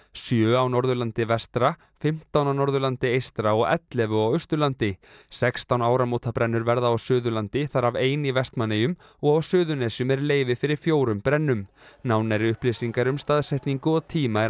sjö á Norðurlandi vestra fimmtán á Norðurlandi eystra og ellefu á Austurlandi sextán áramótabrennur verða á Suðurlandi þar af ein í Vestmannaeyjum og á Suðurnesjum er leyfi fyrir fjórum brennum nánari upplýsingar um staðsetningu og tíma er að